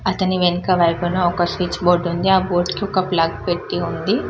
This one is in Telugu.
అతని వెనక వైపున ఒక స్విచ్ బోర్డు ఉంది ఆ బోర్డుకి ఒక ప్లగ్ పెట్టి ఉంది --